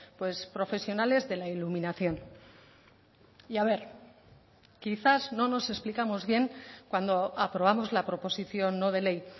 pues profesionales de la iluminación y a ver quizás no nos explicamos bien cuando aprobamos la proposición no de ley